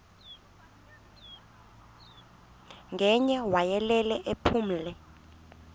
ngaye wayelele ephumle